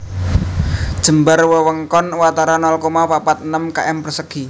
Jembar wewengkon watara nol koma papat enem km persegi